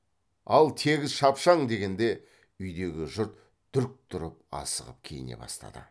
ал тегіс шапшаң дегенде үйдегі жұрт дүрк тұрып асығып киіне бастады